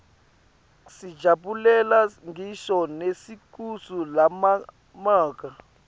sijabulela ngisho nelisuku labomake